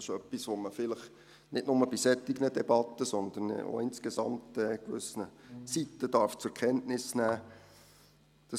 Das ist etwas, das man vielleicht nicht nur bei solchen Debatten, sondern auch insgesamt auf gewissen Seiten zur Kenntnis nehmen darf.